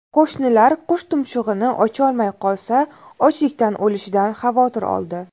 Qo‘shnilar qush tumshug‘ini ocholmay qolsa, ochlikdan o‘lishidan xavotir oldi.